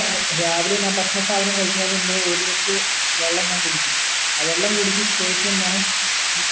രാവിലെ ഞാൻ ഭക്ഷണ സാധനം കഴിക്കുന്നയിൻ മുമ്പേ ഒരു litre വെള്ളം ഞാൻ കുടിക്കും ആ വെള്ളം കുടിച് ശേഷം ഞാൻ